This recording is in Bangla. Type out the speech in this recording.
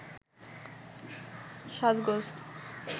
সাজগোজ